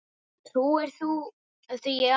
Trúir þú því í alvöru?